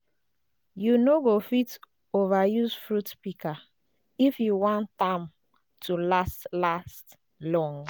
you no go fit ova use fruit pika if you wan tam to last last long